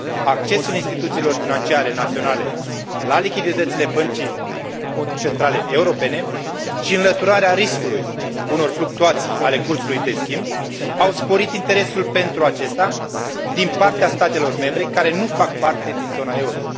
accesul instituțiilor financiare naționale la lichiditățile Băncii Centrale Europene și înlăturarea riscului unor fluctuații ale cursului de schimb au sporit interesul pentru aceasta din partea statelor membre care nu fac parte din zona euro.